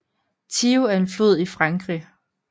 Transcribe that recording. Thiou er en flod i Frankrig